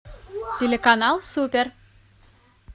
телеканал супер